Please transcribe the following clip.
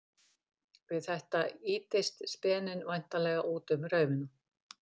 Við þetta ýtist speninn væntanlega út um raufina.